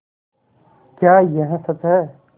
क्या यह सच है